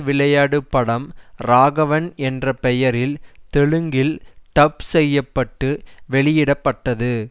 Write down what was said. விளையாடு படம் ராகவன் என்ற பெயரில் தெலுங்கில் டப் செய்ய பட்டு வெளியிட பட்டது